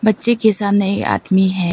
बच्चे के सामने ये आदमी है।